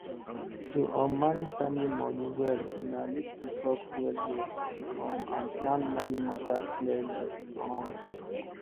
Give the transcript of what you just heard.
to um manage family money well una need to talk well well um and plan money matter clearly um